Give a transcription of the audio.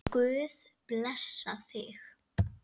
Megi Guð blessa þig.